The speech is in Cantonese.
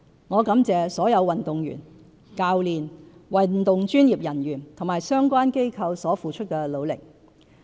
我感謝所有運動員、教練、運動專業人員及相關機構所付出的努力。